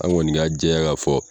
An kɔni k'a jɛya k'a fɔ.